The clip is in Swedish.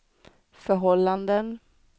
förhållanden